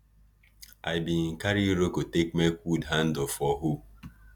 i bin carry iroko take make wood handle for hoe